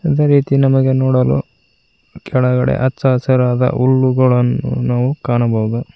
ಅದೇ ರೀತಿ ನಮಗೆ ನೋಡಲು ಕೆಳಗಡೆ ಹಚ್ಚ ಹಸಿರಾದ ಹುಲ್ಲುಗಳನ್ನು ನಾವು ಕಾಣಬಹುದು.